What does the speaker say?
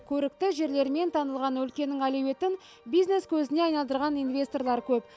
көрікті жерлерімен танылған өлкенің әлеуетін бизнес көзіне айналдырған инвесторлар көп